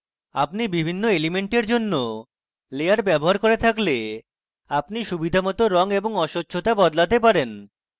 আপনি বিভিন্ন elements জন্য লেয়ার ব্যবহার করে থাকলে আপনি সুবিধামত রঙ এবং অস্বচ্ছতা বদলাতে পারেন